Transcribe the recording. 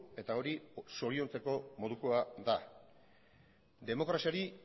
eta hori zoriontzeko modukoa da demokraziari